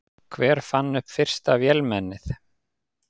Hver fann upp fyrsta vélmennið?